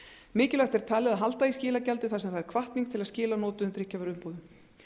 mikilvægt er talið að halda í skilagjaldið þar sem það er hvatning til að skila notuðum drykkjarvöruumbúðum